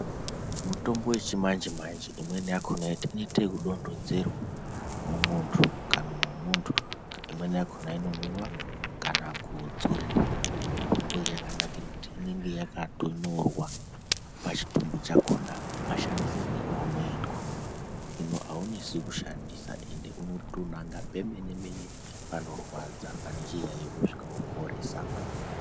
Mitombo yechimanje-manje imweni yakona inoita yekudonhedzerwa mumuntu mukanwa memuntu. Imweni yakona inomwiva kana kudzoriva mitombo iyi yakanakire kuti inenge yakatonyorwa pachitumbu chakona mashandisirwo ounoitwa. Hino haunesi kushandisa ende unotonanga pemene-mene panorwadza pane chiyaiyo vosvika voporesa.